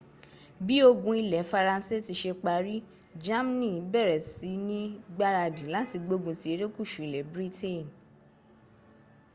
bí ogun ilẹ̀ faransé tí ṣe parí germany bẹ̀rẹ̀ si ní gbaradì láti gbógun ti erékùsù ilẹ̀ britain